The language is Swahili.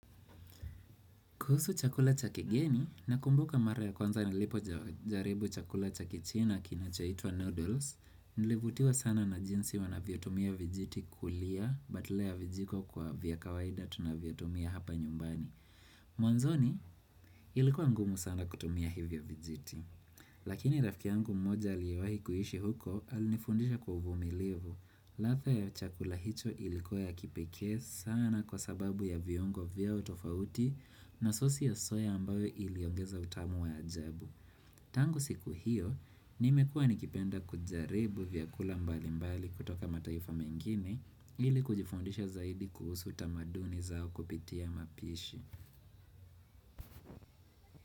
Kuhusu chakula cha kigeni nakumbuka mara ya kwanza nilipoja jaribu chakula cha kichina kinachoitwa noodles, nilivutiwa sana na jinsi wanavyotumia vijiti kulia badala ya vijiko kwa vya kawaida tunavyotumia hapa nyumbani. Mwanzoni ilikuwa ngumu sana kutumia hivyo vijiti. Lakini rafiki yangu mmoja aliyewahi kuishi huko alinifundisha kwa uvumilivu. Ladha ya chakula hicho ilikuwa ya kipekee sana kwa sababu ya viongo vyao tofauti na sosi ya soya ambayo iliongeza utamu wa ajabu. Tangu siku hiyo, nimekuwa nikipenda kujaribu vyakula mbali mbali kutoka mataifa mengine ili kujifundisha zaidi kuhusu tamaduni zao kupitia mapishi.